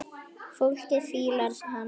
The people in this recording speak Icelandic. Fólkið fílar hana.